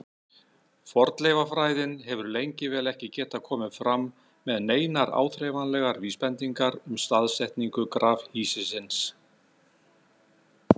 Fornleifafræðin hefur lengi vel ekki getað komið fram með neinar áþreifanlegar vísbendingar um staðsetningu grafhýsisins.